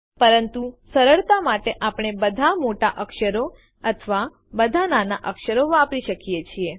પરંતુ સરળતા માટે આપણે બધા મોટા અક્ષરો અથવા બધા નાના અક્ષરો વાપરી શકીએ છીએ